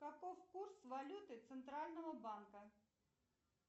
каков курс валюты центрального банка